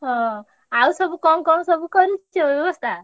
ହଁ ଆଉ ସବୁ କଣ କଣ ସବୁ କଣ ସବୁ କରିଛୁ ବ୍ୟବସ୍ତା?